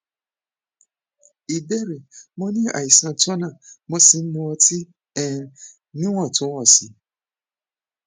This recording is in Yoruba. ìbéèrè mo ní àìsàn turner mo sì ń mu ọtí um níwọntúnwọnsì